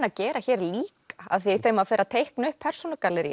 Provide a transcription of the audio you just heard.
að gera hér líka því þegar maður fer að teikna upp